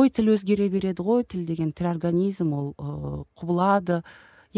ой тіл өзгере берді ғой тіл деген тірі организм ол ы құбылады